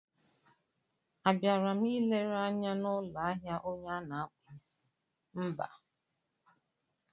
A bịara m ịlere anya n'ụlọ ahịa onye a na-akpụ isí, mba!